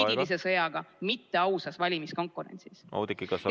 ... juriidilise sõjaga, mitte ausas valimiskonkurentsis.